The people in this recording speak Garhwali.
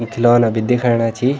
यि खिलौना भी दिख्येणा छी।